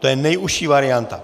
To je nejužší varianta.